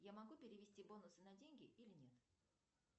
я могу перевести бонусы на деньги или нет